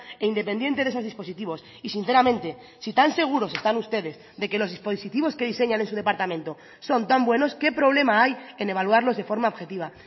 e independiente de esos dispositivos y sinceramente si tan seguros están ustedes de que los dispositivos que diseñan en su departamento son tan buenos qué problema hay en evaluarlos de forma objetiva